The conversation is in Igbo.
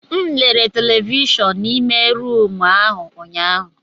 M lere televishọn n'ime rumụ ahụ ụnyaahụ.